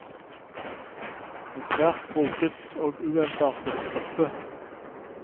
En svært broget og uensartet gruppe.